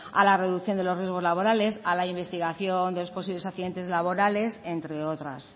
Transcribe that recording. a la reducción de los riesgos laborales a la investigación de los posibles accidentes laborales entre otras